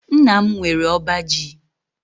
Nna m nwere ọba ji.